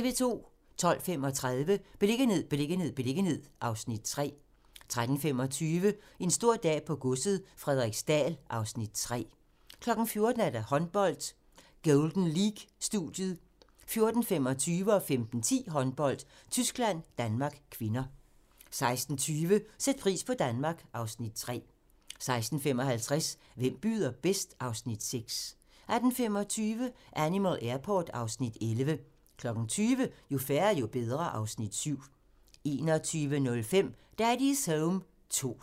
12:35: Beliggenhed, beliggenhed, beliggenhed (Afs. 3) 13:25: En stor dag på godset - Frederiksdal (Afs. 3) 14:00: Håndbold: Golden League-studiet 14:25: Håndbold: Tyskland-Danmark (k) 15:10: Håndbold: Tyskland-Danmark (k) 16:20: Sæt pris på Danmark (Afs. 3) 16:55: Hvem byder bedst? (Afs. 6) 18:25: Animal Airport (Afs. 11) 20:00: Jo færre, jo bedre (Afs. 7) 21:05: Daddy's Home 2